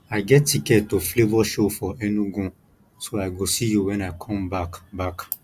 i get ticket to flavour show for enugu so i go see you wen i come back back